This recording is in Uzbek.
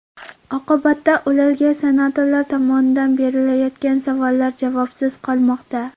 Oqibatda ularga senatorlar tomonidan berilayotgan savollar javobsiz qolmoqda.